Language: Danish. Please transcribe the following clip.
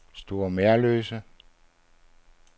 Store Merløse